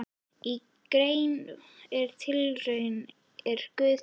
Í grein með titlinum Er guð til?